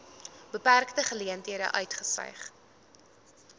beperkte geleenthede uitgestyg